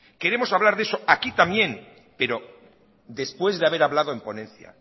queremos hablar de eso aquí también pero después de haber hablado en ponencia